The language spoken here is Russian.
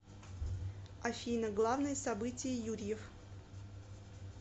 афина главное событие юрьев